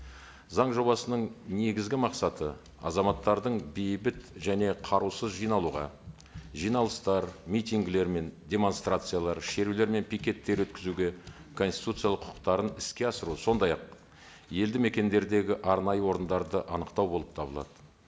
заң жобасының негізгі мақсаты азаматтардың бейбіт және қарусыз жиналуға жиналыстар митингілер мен демонстрациялар шерулер мен пикеттер өткізуге конституциялық құқықтарын іске асыру сондай ақ елді мекендердегі арнайы орындарды анықтау болып табылады